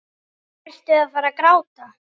Ertu að fara að gráta?